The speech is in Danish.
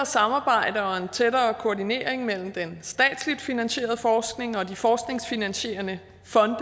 samarbejde og en tættere koordinering mellem den statsligt finansierede forskning og de forskningsfinansierende fonde